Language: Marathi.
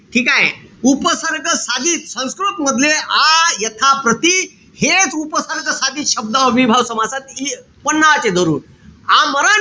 ठीकेय? उपसर्ग साधित संस्कृत मधले आ, यथा, प्रति हेच उपसर्ग साधित शब्द अव्ययीभाव समासात धरून. आमरण,